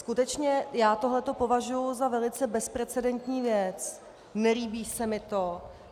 Skutečně já tohle považuji za velice bezprecedentní věc, nelíbí se mi to.